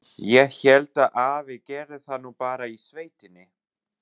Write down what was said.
Ég hélt að afi gerði það nú bara í sveitinni.